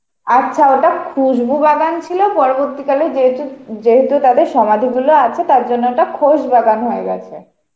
আচ্ছা ওটা খুশবু বাগান ছিল পরবর্তী কালে যেহেতু যেহেতু তাতে সমাধিগুলো আছে তাই জন্য এটা খোশবাগান হয়ে গেছে.